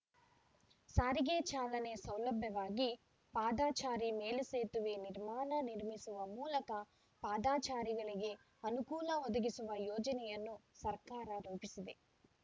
ಸಾರಿಗೆ ಚಾಲನೆ ಸೌಲಭ್ಯವಾಗಿ ಪಾದಚಾರಿ ಮೇಲು ಸೇತುವೆ ನಿರ್ಮಾಣ ನಿರ್ಮಿಸುವ ಮೂಲಕ ಪಾದಚಾರಿಗಳಿಗೆ ಅನುಕೂಲ ಒದಗಿಸುವ ಯೋಜನೆಯನ್ನು ಸರ್ಕಾರ ರೂಪಿಸಿದೆ